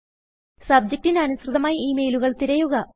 സബ്ജക്റ്റിന് അനുസൃതമായി ഈ മെയിലുകൾ തിരയുക